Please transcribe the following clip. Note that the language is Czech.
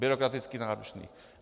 Byrokraticky náročné.